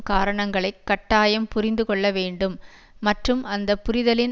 காரணங்களை கட்டாயம் புரிந்து கொள்ள வேண்டும் மற்றும் அந்த புரிதலின்